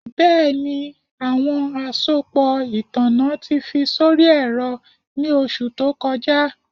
Bẹẹni, awọn asopọ itanna ti fi sori ẹrọ ni oṣu to kọja